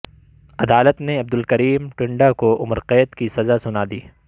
عدالت نے عبدالکریم ٹنڈا کو عمر قید کی سزاسنادی